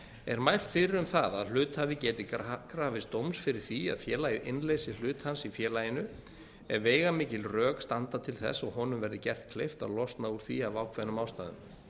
er mælt fyrir um það að hluthafi geti krafist dóms fyrir því að félagið innleysi hlut hans í félaginu ef veigamikil rök standa til þess og honum verði gert kleift að losna úr því af ákveðnum ástæðum